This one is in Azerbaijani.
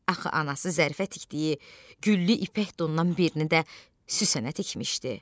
Axı anası Zərifə tikdiyi güllü ipək donundan birini də Süslənə tikmişdi.